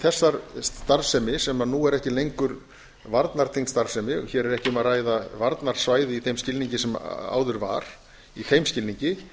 þessa starfsemi sem nú er ekki lengur varnartengd starfsemi hér er ekki um að ræða varnarsvæði í þeim skilningi sem áður var í þeim skilningi